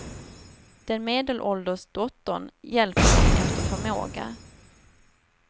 Den medelålders dottern hjälper dem efter förmåga.